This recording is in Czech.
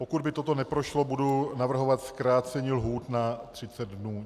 Pokud by toto neprošlo, budu navrhovat zkrácení lhůt na 30 dnů.